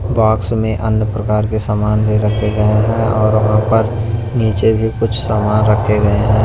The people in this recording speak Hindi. बॉक्स में अन्य प्रकार के सामान भी रखे गए हैं और वहां पर नीचे भी कुछ सामान रखे गए हैं।